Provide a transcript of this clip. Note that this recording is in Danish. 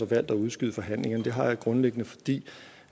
valgt at udskyde forhandlingerne det har jeg grundlæggende fordi